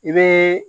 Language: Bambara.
I bɛ